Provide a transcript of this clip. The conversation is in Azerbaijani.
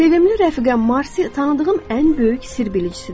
Sevimli rəfiqəm Marsi tanıdığım ən böyük sirr bilicisidir.